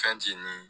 Fɛn ti ni